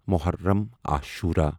Muharram Ashura